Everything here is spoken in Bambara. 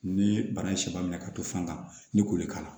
Ni bana in ye samiya minɛ ka to fan ni k'o de k'a la